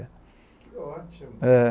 Que ótimo! Eh